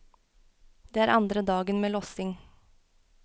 Det er andre dagen med lossing.